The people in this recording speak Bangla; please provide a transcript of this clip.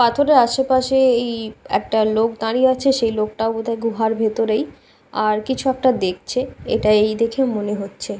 পাথর এর আশেপাশে এই একটা লোক দাঁড়িয়ে আছে সেই লোকটাও বোধ হয় গুহার ভেতরেই আর কিছু একটা দেখছে এটা এই দেখে মনে হচ্ছে ।